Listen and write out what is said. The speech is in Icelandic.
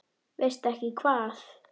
Veistu ekki hvað?